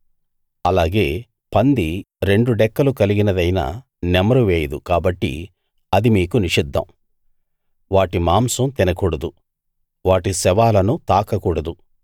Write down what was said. అలాగే పంది రెండు డెక్కలు కలిగినదైనా నెమరు వేయదు కాబట్టి అది మీకు నిషిద్ధం వాటి మాంసం తినకూడదు వాటి శవాలను తాకకూడదు